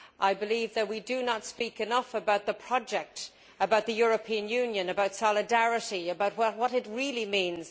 I believe that we do not speak enough about the project, about the European Union, about solidarity, about what it really means